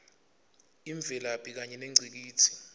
imvelaphi kanye nengcikitsi